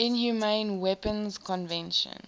inhumane weapons convention